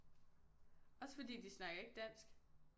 Også fordi de snakker ikke dansk